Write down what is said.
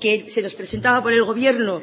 que se nos presentaba por el gobierno